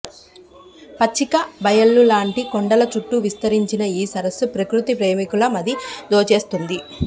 పచ్చిక బయళ్లులాంటి కొండల చుట్టూ విస్తరించిన ఈ సరస్సు ప్రకృతి ప్రేమికుల మది దోచేస్తుంది